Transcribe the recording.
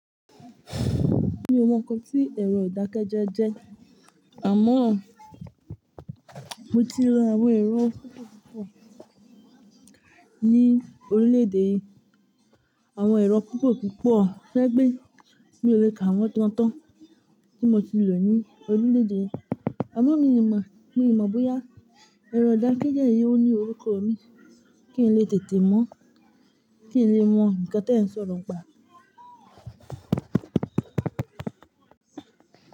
Mi ò mọ nǹkan tí ẹ̀rọ ìdákẹ́jẹ́ jẹ́, àmọ́ mo ti lọ àwọn ẹ̀rọ púpọ̀ púpọ̀ ní orílẹ̀ èdè yìí. Àwọn ẹ̀rọ púpọ̀ púpọ̀, to je wipe mi ò lè ka wọn gán tán tí mo ti lò ní orílẹ̀ èdè yìí. Àmọ́ mi ò mọ̀, bóyá ẹ̀rọ ìdákẹ́jẹ́ yìí ó ní orúkọ mi kí n lè tètè mọ̀, kí n lè mọ nǹkan tí ẹ ń sọ lọ́pa.